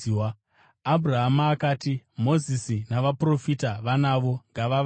“Abhurahama akati, ‘Mozisi navaprofita vanavo; ngavavanzwe.’